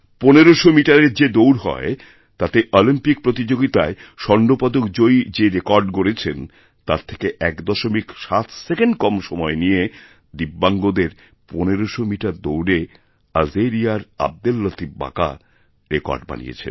পনেরোশো মিটারের যে দৌড়হয় তাতে অলিম্পিক প্রতিযোগিতায় স্বর্ণপদক জয়ী যে রেকর্ড গড়েছেন তার থেকে এক দশমিকসাত সেকেন্ড কম সময় নিয়ে দিব্যাঙ্গদের পনেরোশো মিটার দৌড়ে আলজিরিয়ার আবদেল লতিফবাকা রেকর্ড বানিয়েছেন